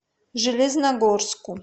железногорску